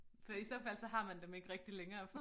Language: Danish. For i så fald så har man dem ikke rigtig længere